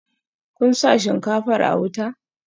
Kun sa shinkafar a wuta?